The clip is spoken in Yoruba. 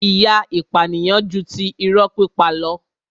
ìyà ìpànìyàn ju ti irọ́ pípa lọ.